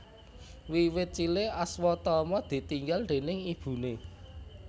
Wiwit cilik Aswatama ditinggal déning ibune